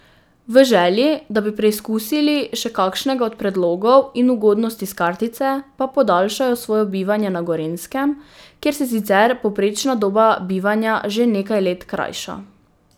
V želji, da bi preizkusili še kakšnega od predlogov in ugodnosti s kartice, pa podaljšajo svoje bivanje na Gorenjskem, kjer se sicer povprečna doba bivanja že nekaj let krajša.